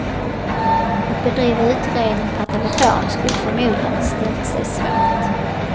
Att bedriva utredning per telefon skulle förmodligen ställt sig svårt.